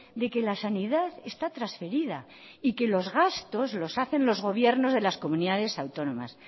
de que la sanidad está transferida y que los gastos los hacen los gobiernos de las comunidades autónomas